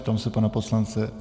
Ptám se pana poslance.